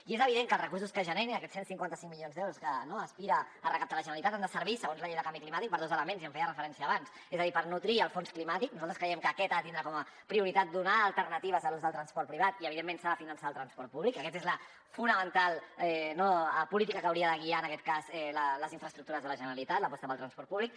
i és evident que els recursos que generin aquests cent i cinquanta cinc milions d’euros que aspira a recaptar la generalitat han de servir segons la llei de canvi climàtic per a dos elements i hi feia referència abans és a dir per nodrir el fons climàtic nosaltres creiem que aquest ha de tindre com a prioritat donar alternatives a l’ús del transport privat i evidentment s’ha de finançar el transport públic aquesta és la fonamental política que hauria de guiar en aquest cas les infraestructures de la generalitat l’aposta pel transport públic